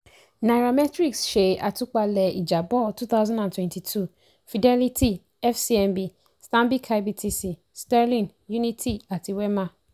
nairametrics ṣe atúpalè ìjábọ̀ two thousand and twenty two fidelity fcmb stanbic ibtc sterling unity àti wema.